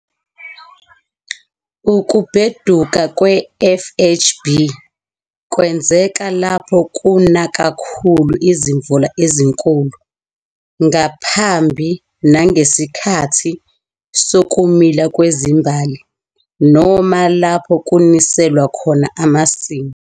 Ukubheduka kwe-FHB kwenzeka lapho kuna kakhulu izimvula ezinkulu ngaphambi nangesikhathi sokumila kwezimbali, noma lapho kuniselwa khona amasimu.